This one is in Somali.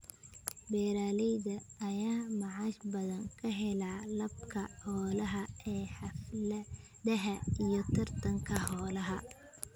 Beeralayda ayaa macaash badan ka hela iibka xoolaha ee xafladaha iyo tartanka xoolaha.